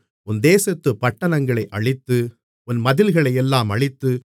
உன் தேசத்துப் பட்டணங்களை அழித்து உன் மதில்களையெல்லாம் அழித்து